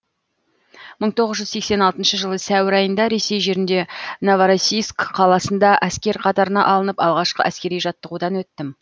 мың тоғыз жүз сексен алтыншы жылы сәуір айында ресей жерінде новороссийск қаласында әскер қатарына алынып алғашқы әскери жаттығудан өттім